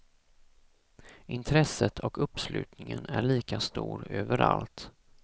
Intresset och uppslutningen är lika stor överallt.